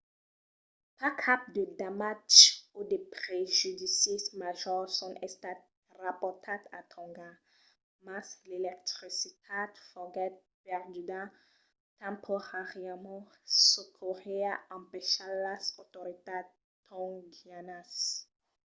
pas cap de damatges o de prejudicis majors son estats raportats a tònga mas l'electricitat foguèt perduda temporàriament çò qu'auriá empachat las autoritats tongianas